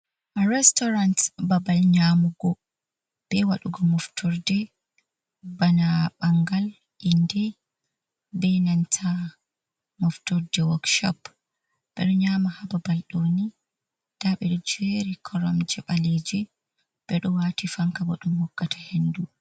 Retorant babal nyamugo be waɗugo moftorde, bana ɓangal, inde, be nanta moftorde wokshop, ɓeɗo nyama hababal ɗoni nda bedo jeri koromje ɓaleji ɓeɗo wati fanka bo ɗum hokkata hendu.